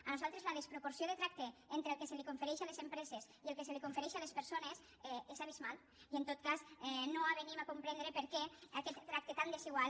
a nosaltres la desproporció de tracte entre el que se li confereix a les empreses i el que se li confereix a les persones és abismal i en tot cas no ens avenim a comprendre per què aquest tracte tan desigual